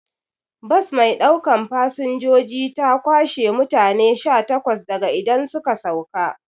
Bas maiɗaukan fasanjoji ta kwashe mutane sha takwas daga idan suka sauka